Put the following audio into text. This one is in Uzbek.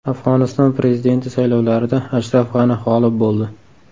Afg‘oniston prezidenti saylovlarida Ashraf G‘ani g‘olib bo‘ldi .